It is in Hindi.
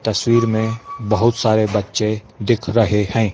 तस्वीर में बहुत सारे बच्चे दिख रहे हैं।